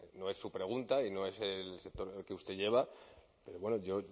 no es su pregunta y no es el sector que usted lleva pero bueno yo